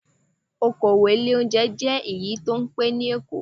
Okowò ilé oúnjẹ jẹ́ èyí tó pẹ́ ní Èkó.